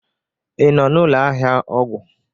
ị nọ n'ụlọ ahịa ọgwụ?